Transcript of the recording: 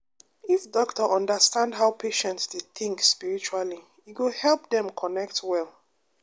if doctor understand how patient dey think spiritually e go help dem connect well.